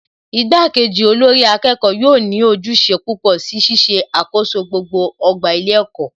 Ìgbà kejì olórí akẹ́kọ̀ọ́ yóò ní ojúṣe púpọ̀ si Ṣíṣe àkoso gbogbo ọgbà ilé ẹ̀kọ́